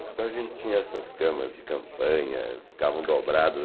Então a gente tinha essas camas de campanha, ficavam dobradas.